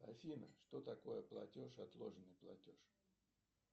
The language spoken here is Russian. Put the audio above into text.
афина что такое платеж отложенный платеж